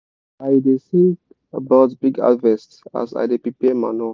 i da sing about big harvest as i da prepare manure